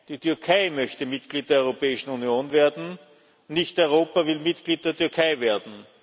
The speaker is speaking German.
Die Türkei möchte Mitglied der Europäischen Union werden, nicht Europa will Mitglied der Türkei werden.